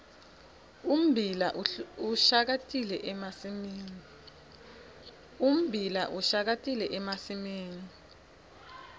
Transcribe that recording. ummbila ushakatile emasimini